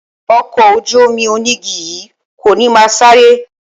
Ọkọ̀ ojú-omi onígi yìí kò ní máa sáré